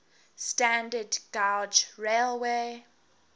standard gauge railways